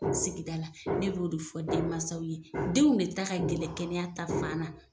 sigida la, ne b'o de fɔ den mansaw ye, denw de ta ka gɛlɛ kɛnɛya ta fan na.